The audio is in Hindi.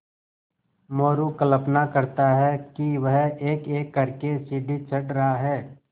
मोरू कल्पना करता कि वह एकएक कर के सीढ़ी चढ़ रहा है